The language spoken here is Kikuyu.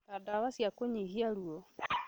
ta ndawa cia kunyihia ruo